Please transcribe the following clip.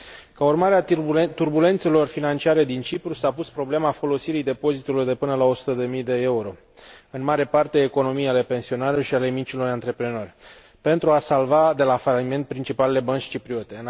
Ca urmare a turbulențelor financiare din Cipru, s a pus problema folosirii depozitelor de până la 100 de mii de euro, în mare parte economii ale pensionarilor și ale micilor antreprenori, pentru a salva de la faliment principalele bănci cipriote.